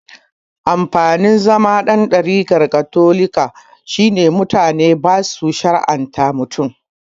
Amfanin zama dan ɗarikar katolika shine mutane basu shar'anta mutum